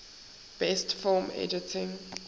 best film editing